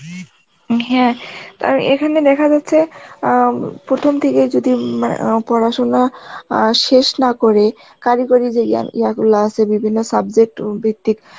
হ্যাঁ কারণ এখানে দেখা যাচ্ছে অ্যাঁ, প্রথম থেকেই যদি মা~ও পড়াশোনা অ্যাঁ শেষ না করে কারিগরি যে ইয়া ইয়া গুলো আছে বিভিন্ন subject ভিত্তিক